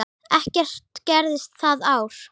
Ekkert gerðist það ár.